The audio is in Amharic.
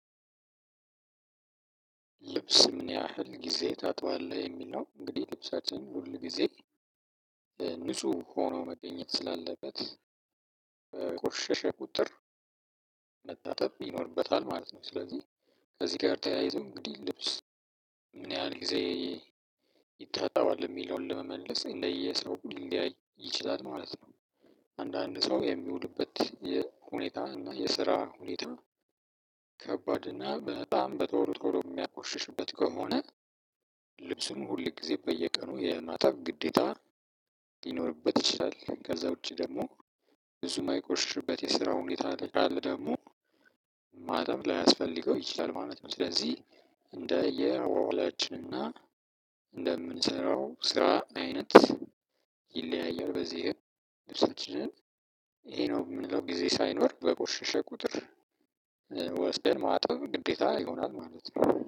"ልብስ ምን ያህል ጊዜ ታጥባለህ?" የሚል ነው። እንግዲህ ልብሳችን ሁል ጊዜ ንጹህ ሆኖ መገኘት ስላለበት በቆሸሸ ቁጥር መታጠብ ይኖርበታል ማለት ነው። ስለዚህ ከዚህ ጋር ተያይዞ እንግዲህ ልብስ ምን ያህል ጊዜ ይታጠባል የሚለውን ለመመለስ እንደየሰው ሊለያይ ይችላል ማለት ነው። አንዳንድ ሰው የሚውልበት የ ሁኔታ እና የስራ ሁኔታ ከባድ እና በጣም በቶሎ ቶሮ የሚያቆሽሽበት ከሆነ ልብሱን ሁል ጊዜ በየቀኑ የማጠብ ግዴታ ሊኖርበት ይችላል። ከዛ ውጪ ደግሞ ብዙ ማይቆሽሽበት የስራ ሁኔታ ላይ ካለ ደግሞ ማጠብ ላያስፈልገው ይችላል ማለት ነው። ስለዚህ እንደየ አዏዏላችን እና እንደምንሰራው ስራ አይነት ይለያያል። በዚህም ልብሳችንን ይሄ ነው የምንለው ጊዜ ሳይኖር በቆሸሸ ቁጥር ወስደን ማጠብ ግዴታ ይሆናል ማለት ነው።